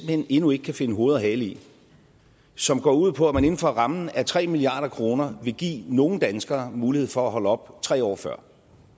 hen endnu ikke kan finde hoved og hale i som går ud på at man inden for rammen af tre milliard kroner vil give nogle danskere mulighed for at holde op tre år før